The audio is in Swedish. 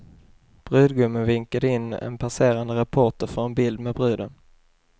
Brudgummen vinkade in en passerande reporter för en bild med bruden.